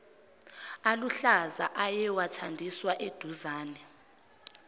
aluhlaza ayewathandiswa eduzane